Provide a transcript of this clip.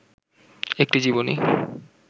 একটি জীবনী